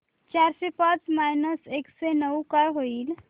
चारशे पाच मायनस एकशे नऊ काय होईल